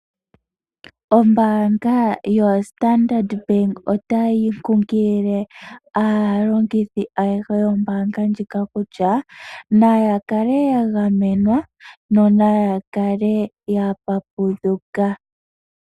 Ombaanga yo Standard bank otayi kunkilile aalongithi ayehe yombaanga ndjika kutya naya kale ya gamenwa yo naya kale ya papudhuka.